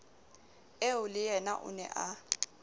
eo leyena o ne a